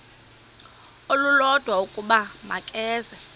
olulodwa ukuba makeze